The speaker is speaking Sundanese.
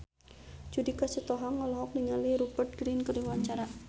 Judika Sitohang olohok ningali Rupert Grin keur diwawancara